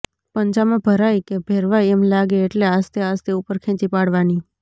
પંજામાં ભરાઈ કે ભેરવાઈ એમ લાગે એટલે આસ્તે આસ્તે ઉપર ખેંચી પાડવાની